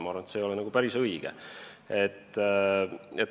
Ma arvan, et see ei ole päris õige.